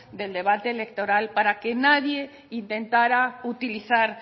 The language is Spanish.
del debate electoral para que nadie intentara utilizar